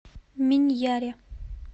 миньяре